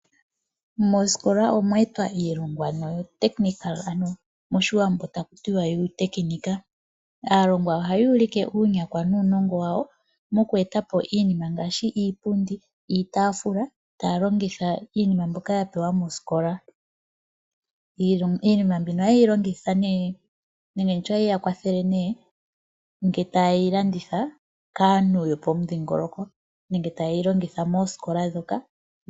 Mooskola omweeetwa iilonga noyo techical ano moshiwambo takutiwa yuutekinika. Aalongwa ohayuulike uunyakwa nuunongo wawo, mokweeta po iinima ngaashi iipundi, iitaafula, taya longitha iinima mbyoka yapewa mooskola. Iilonga, iinima mbino ohaye ilongitha nee nenge nditye ohayi yakwathele nee, nge tayeyi landitha kaanhu yopomudhingoloko. Nenge ta yeyi longitha poosikola dhoka,